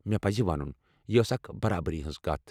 مےٚ پزِ ونُن، یہ آسہ اکھ برابری ہنز كتھ ۔